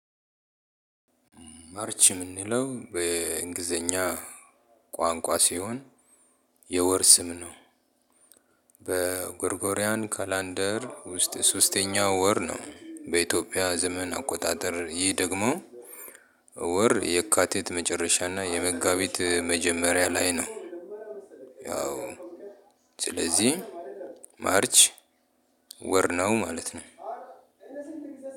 ማርች በምንለው በ እንግሊዝኛ ቆንቆ ሲሆን የወር ስም ነው። በ ግሪጎሪያን ካላንደር ውስጥ ሶስተኛው ወር ነው በእትዬጵያ ዘመን አቆጣጠር ይህ ደግሞ ወር የካቲት መጨረሻ እና የመጋቢት መጀመርያ ላይ ነው። ማርች ወር ነው ማለት ነው።